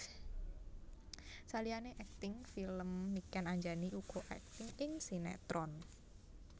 Saliyané akting film Niken Anjani uga akting ing sinetron